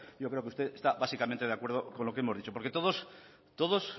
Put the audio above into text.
yo creo que usted está básicamente de acuerdo con lo que hemos dicho porque todos